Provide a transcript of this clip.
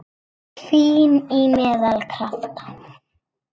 Fín- Í meðal- Krafta